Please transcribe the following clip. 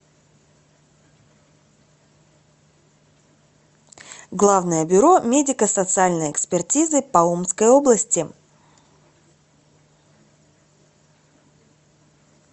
главное бюро медико социальной экспертизы по омской области